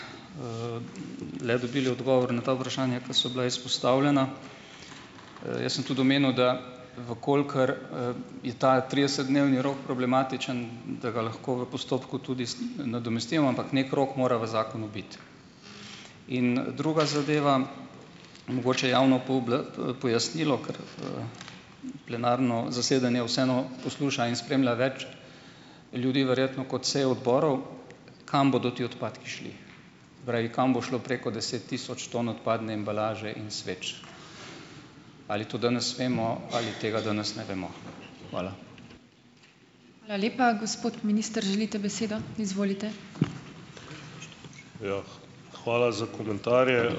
le dobili odgovor na ta vprašanja, ke so bila izpostavljena. Jaz sem tudi omenil, da v kolikor, je ta tridesetdnevni rok problematičen, da ga lahko v postopku tudi nadomestimo, ampak neki rok mora v zakonu biti. In, druga zadeva, mogoče javno pojasnilo, ker, plenarno zasedanje vseeno posluša in spremlja več ljudi verjetno kot seje odborov. Kam bodo ti odpadki šli? Pravi, kam bo šlo preko deset tisoč ton odpadne embalaže in sveč? Ali to danes vemo? Ali tega danes ne vemo? Hvala.